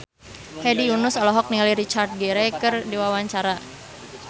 Hedi Yunus olohok ningali Richard Gere keur diwawancara